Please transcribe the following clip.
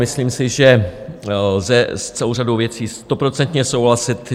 Myslím si, že lze s celou řadou věcí stoprocentně souhlasit.